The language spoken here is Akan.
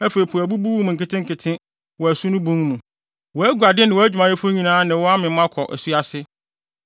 Afei po abubu wo mu nketenkete wɔ asu no bun mu wʼaguade ne wʼadwumayɛfo nyinaa ne wo amem kɔ asu ase.